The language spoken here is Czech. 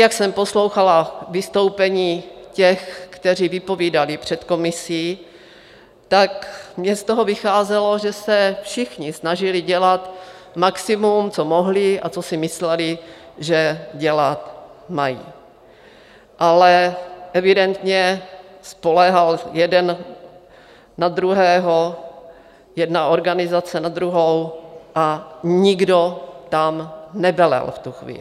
Jak jsem poslouchala vystoupení těch, kteří vypovídali před komisí, tak mi z toho vycházelo, že se všichni snažili dělat maximum, co mohli a co si mysleli, že dělat mají, ale evidentně spoléhal jeden na druhého, jedna organizace na druhou, a nikdo tam nevelel v tu chvíli.